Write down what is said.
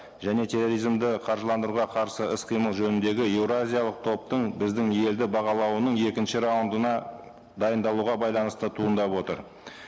және терроризмді қаржыландыруға қарсы іс қимыл жөніндегі еуразиялық топтың біздің елді бағалауының екінші раундына дайындалуға байланысты туындап отыр